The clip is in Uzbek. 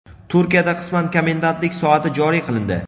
Turkiyada qisman komendantlik soati joriy qilindi.